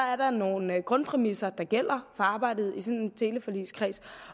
at der er nogle grundpræmisser der gælder for arbejdet i sådan en teleforligskreds